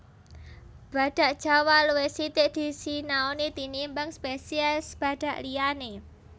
Badhak Jawa luwih sithik disinaoni tinimbang spesies badhak liyané